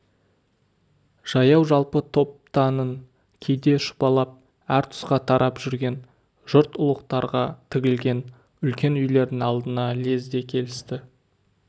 жаяу-жалпы топтанын кейде шұбалып әр тұсқа тарап жүрген жұрт ұлықтарға тігілген үлкен үйлердің алдына лезде келісті